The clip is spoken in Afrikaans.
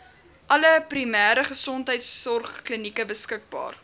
alle primêregesondheidsorgklinieke beskikbaar